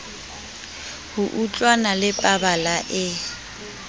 ho utlwana le pabala e